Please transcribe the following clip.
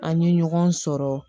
An ye ɲɔgɔn sɔrɔ